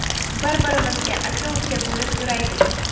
Bir-birimizga aka-uka bo‘lib yuraylik.